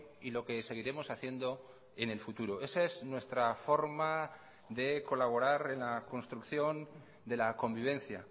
y lo que seguiremos haciendo en el futuro esa es nuestra forma de colaborar en la construcción de la convivencia